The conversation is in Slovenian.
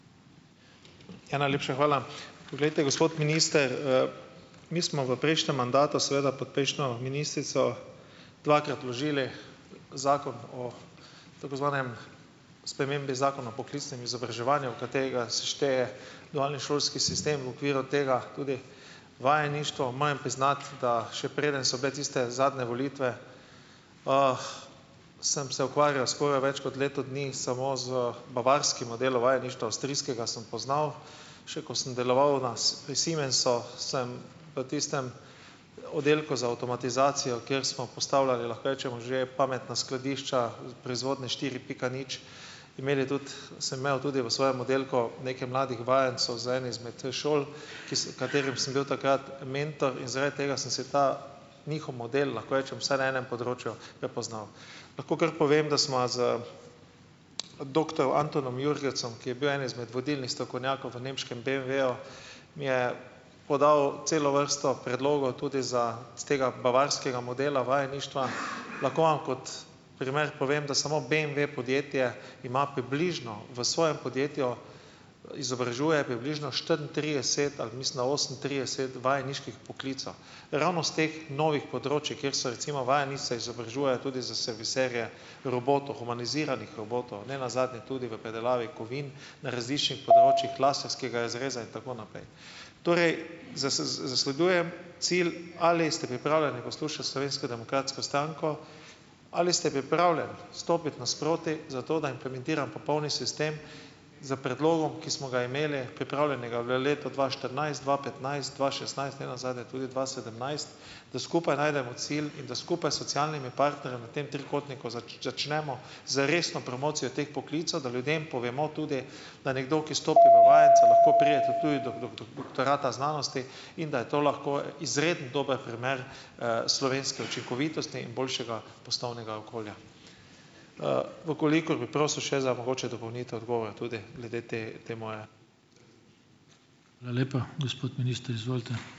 Najlepša hvala. Poglejte, gospod minister , mi smo v prejšnjem mandatu, seveda pod prejšnjo ministrico dvakrat vložili Zakon o tako zvanem, spremembi Zakona o poklicnem izobraževanju, v katerega se šteje šolski sistem v okviru tega tudi vajeništvo. Mojem priznati, da, še preden so bile tiste zadnje volitve, sem se ukvarjal skoraj več kot leto dni samo z bavarskim modelom vajeništva, avstrijskega sem poznal. Še ko sem deloval na Siemens sem v tistem oddelku za avtomatizacijo, kjer smo postavljali, lahko rečemo, že pametna skladišča proizvodnje štiri pika nič, imeli tudi, sem imel tudi v svojem oddelku nekaj mladih vajencev z ene izme, šol, ki sem, katerim sem bil takrat mentor in zaradi tega sem se ta njihov model, lahko rečem, vse na enem področju prepoznal. Lahko kar povem, da sva z doktor Antonom Jurhecom, ki je bil eden izmed vodilnih strokovnjakov v nemškem BMW-ju, mi je podal celo vrsto predlogov tudi za, s tega bavarskega modela vajeništva. Lahko vam kot primer povem, da samo BMV podjetje ima približno v svojem podjetju, izobražuje približno štiriintrideset ali mislim, da osemintrideset vajeniških poklicev. Ravno s teh novih področij, kjer so recimo vajence izobražuje tudi za serviserje robotov, humaniziranih robotov, nenazadnje tudi v predelavi kovin različnih področjih , klasenskega razreza in tako naprej. Torej, z, zasledujem cilj ali ste pripravljeni poslušati Slovensko demokratsko stranko, ali ste pripravljen stopiti nasproti, zato, da implementiram popolni sistem s predlogom, ki smo ga imeli pripravljenega v letu dva štirinajst, dva petnajst, dva šestnajst, nenazadnje tudi dva sedemnajst, da skupaj najdemo cilj in da skupaj socialnimi partnerjem v tem trikotniku začnemo z resno promocijo teh poklicev, da ljudem povemo tudi, da nekdo, ki stopi do vajenca lahko prijete tudi do dokler, doktorata znanosti, in da je to lahko izredno dober primer, slovenske učinkovitosti in boljšega poslovnega okolja. v kolikor bi prosil še za mogoče dopolnitev odgovora tudi glede te, te ... Hvala lepa. Gospod minister, izvolite.